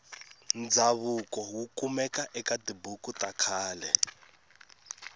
ndzavuko wukumeka ekatibhuku takhale